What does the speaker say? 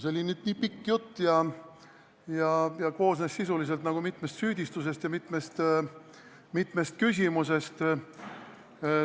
See oli nii pikk jutt ja koosnes sisuliselt mitmest süüdistusest ja mitmest küsimusest.